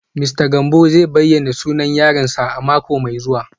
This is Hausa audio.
Mista Gambo zai bayyana sunan sabon yaronsa a mako mai zuwa